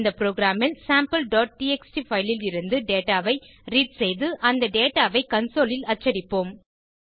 இந்த புரோகிராம் ல் sampleடிஎக்ஸ்டி பைல் லிருந்து டேட்டா ஐ ரீட் செய்து அந்த டேட்டா ஐ கன்சோல் ல் அச்சடிப்போம்